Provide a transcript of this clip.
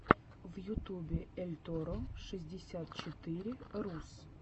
в ютюбе эльторро шестьдесят четыре рус